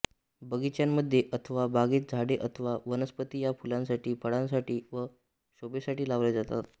बगिच्यांमध्ये अथवा बागेत झाडे अथवा वनस्पती या फुलांसाठी फळांसाठी व शोभेसाठी लावल्या जातात